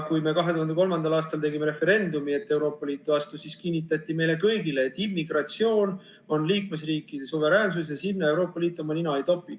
Kui me 2003. aastal tegime referendumi, et Euroopa Liitu astuda, siis kinnitati meile kõigile, et immigratsioon on liikmesriikide suveräänsus ja sinna Euroopa Liit oma nina ei topi.